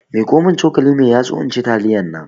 miƙomin cokali mai yatsu inci taliyarnan